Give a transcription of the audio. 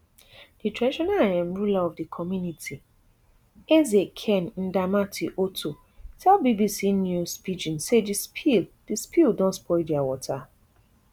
di traditional um ruler of di community eze ken ndamati otto tell bbc news pidgin say di spill di spill don spoil dia water